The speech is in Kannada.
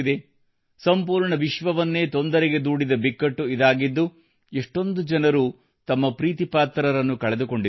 ಸಂಪೂರ್ಣ ವಿಶ್ವವನ್ನೇ ತೊಂದರೆಗೆದೂಡಿದ ಬಿಕ್ಕಟ್ಟು ಇದಾಗಿದ್ದು ಎಷ್ಟೊಂದು ಜನರು ತಮ್ಮ ಪ್ರೀತಿ ಪಾತ್ರರನ್ನು ಕಳೆದುಕೊಂಡಿದ್ದಾರೆ